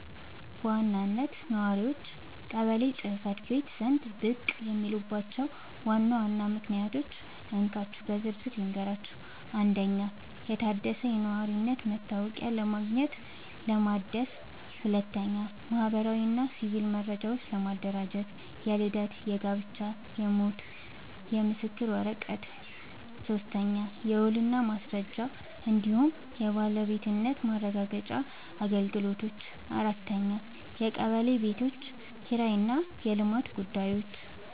በዋናነት ነዋሪዎች ቀበሌ ጽ/ቤት ዘንድ ብቅ የሚሉባቸውን ዋና ዋና ምክንያቶች እንካችሁ በዝርዝር ልንገራችሁ፦ 1. የታደሰ የነዋሪነት መታወቂያ ለማግኘትና ለማደስ 2. ማህበራዊና ሲቪል መረጃዎችን ለማደራጀት (የልደት፣ የጋብቻና የሞት ምስክር ወረቀት) 3. የውልና ማስረጃ እንዲሁም የባለቤትነት ማረጋገጫ አገልግሎቶች 4. የቀበሌ ቤቶች ኪራይና የልማት ጉዳዮች